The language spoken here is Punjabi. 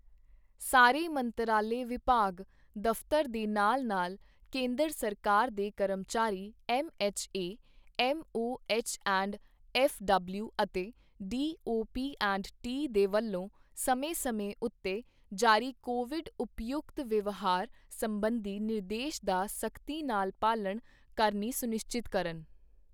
ਸਾਰੇ ਮੰਤਰਾਲੇ ਵਿਭਾਗ ਦਫਤਰ ਦੇ ਨਾਲ-ਨਾਲ ਕੇਂਦਰ ਸਰਕਾਰ ਦੇ ਕਰਮਚਾਰੀ M H A, M O H and F W ਅਤੇ D O P and T ਦੇ ਵੱਲੋਂ ਸਮੇਂ-ਸਮੇਂ ਉੱਤੇ ਜਾਰੀ ਕੋਵਿਡ ਉਪਯੁਤਕ ਵਿਵਹਾਰ ਸੰਬੰਧੀ ਨਿਰਦੇਸ਼ ਦਾ ਸਖਤੀ ਨਾਲ ਪਾਲਣਾ ਕਰਨੀ ਸੁਨਿਸ਼ਚਿਤ ਕਰਨ।